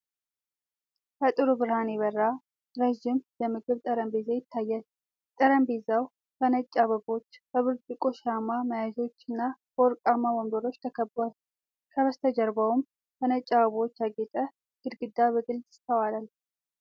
በጥሩ ብርሃን የበራ፣ ረዥም የምግብ ጠረጴዛ ይታያል። ጠረጴዛው በነጭ አበባዎች፣ በብርጭቆ ሻማ መያዣዎች እና በወርቃማ ወንበሮች ተከቧል። ከበስተጀርባውም በነጭ አበቦች ያጌጠ ግድግዳ በግልጽ ይስተዋላል።